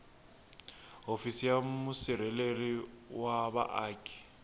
hofisi ya musirheleli wa vaaki